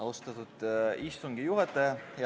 Austatud istungi juhataja!